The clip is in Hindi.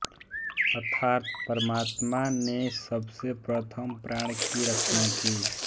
अर्थात् परमात्मा ने सबसे प्रथम प्राण की रचना की